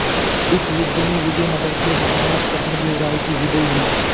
इस युद्ध में विजय नगर के महाराज कृष्णदेव राय की विजय हुई